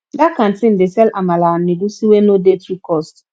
dat canteen dey sell amala and egusi wey no dey too cost